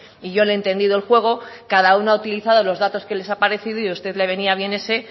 y yo le he entendido el juego cada uno ha utilizado los datos que les ha parecido y usted le venía bien ese